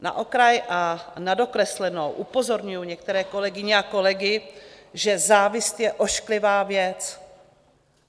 Na okraj a na dokreslenou upozorňuji některé kolegyně a kolegy, že závist je ošklivá věc.